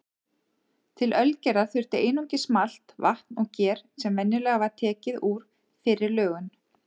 Til ölgerðar þurfti einungis malt, vatn og ger sem venjulega var tekið úr fyrri lögun.